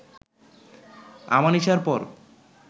আমানিশার পর